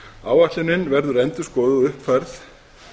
áætlunin verður endurskoðuð og uppfærð